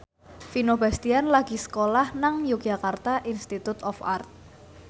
Vino Bastian lagi sekolah nang Yogyakarta Institute of Art